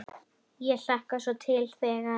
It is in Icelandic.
Ég hlakkar svo til þegar.